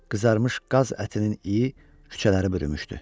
Qızarmış qaz ətinin iyi küçələri bürümüşdü.